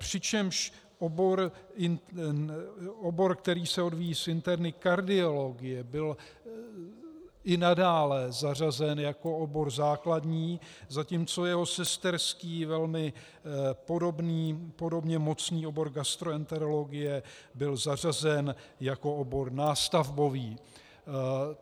Přičemž obor, který se odvíjí z interny, kardiologie, byl i nadále zařazen jako obor základní, zatímco jeho sesterský, velmi podobně mocný obor gastroenterologie byl zařazen jako obor nástavbový.